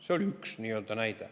See on üks näide.